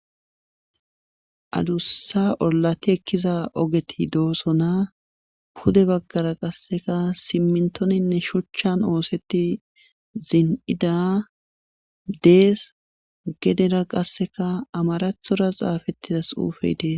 adussa ollati ekkiza ogeti doosona pude baggara qasseka simmintoninne shuchchan oosetti zin'ida dees gedera qasseka amarathora xaafettidas xuufey dees